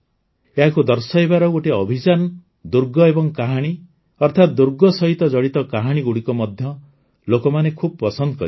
ଏହାକୁ ଦର୍ଶାଇବାର ଗୋଟିଏ ଅଭିଯାନ ଦୁର୍ଗ ଏବଂ କାହାଣୀ ଅର୍ଥାତ୍ ଦୁର୍ଗ ସହିତ ଜଡ଼ିତ କାହାଣୀଗୁଡ଼ିକ ମଧ୍ୟ ଲୋକମାନେ ଖୁବ୍ ପସନ୍ଦ କରିଥିଲେ